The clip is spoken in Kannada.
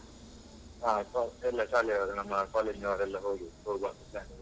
ಹೌದೌದು. ಅಹ್ ಕಾಲ್ ಎಲ್ಲ ಶಾಲೆಯವರೇ ನಮ್ಮ ಕಾಲೇಜ್ನವರೆಲ್ಲ ಹೋಗಿ , ಹೋಗುವಾಂತ plan ಮಾಡಿದ್ದೇವೆ